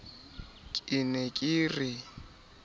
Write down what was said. ka e ne e re